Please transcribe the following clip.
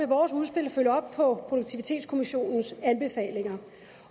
vores udspil og følge op på produktivitetskommissionens anbefalinger